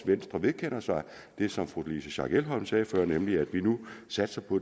venstre vedkender sig det som fru louise schack elholm sagde før nemlig at det vi nu satser på